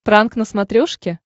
пранк на смотрешке